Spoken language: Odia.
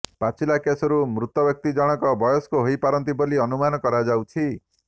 ପାଚିଲା କେଶରୁ ମୃତବ୍ୟକ୍ତି ଜଣଙ୍କ ବୟସ୍କ ହୋଇପାରନ୍ତି ବୋଲି ଅନୁମାନ କରାଯାଉଛି